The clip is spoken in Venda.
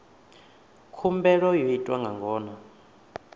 khumbelo yo itwa nga ngona